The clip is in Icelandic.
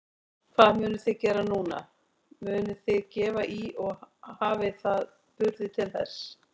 Hvað munuð þið gera núna, munuð þið gefa í og hafið þið burði til þess?